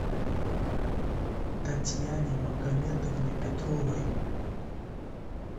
татьяне магометовне петровой